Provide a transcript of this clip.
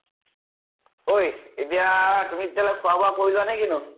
ঐ এতিয়া তুমি তেতিয়াহলে খোৱা বোৱা কৰি লোৱা ন কিনো?